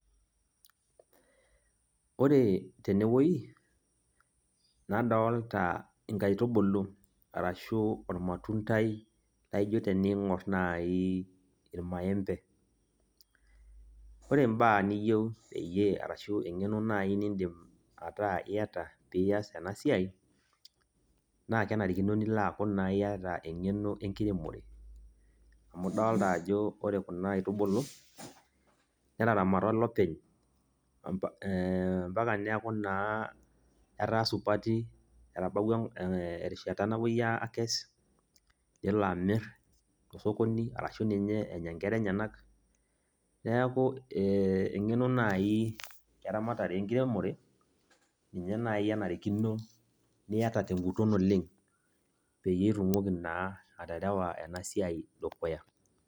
Ore tenewoi, nadolta inkaitubulu, arashu ormatuntai, laijo teniing'or naa irmaembe. Ore imbaa niyieu peyie arashu eng'eno nai nidim ataa iyata pias enasiai, naa kenarikino nilo aku naa iyata eng'eno enkiremore. Amu idolta ajo ore kuna aitubulu, netaramata olopeny, mpaka neeku naa etaa supati, etabawua erishata napuoi akes, nelo amir tosokoni, arashu ninye enya nkera enyanak. Neeku eng'eno nai eramatare enkiremore, ninye nai enarikino niata teguton oleng, peyie itumoki naa aterewa enasiai dukuya.